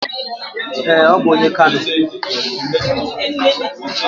Ee, ọ bụ onye Kano